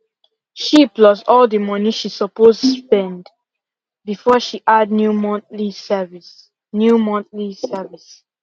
she plus all the money she supposed spend before she add new monthly service new monthly service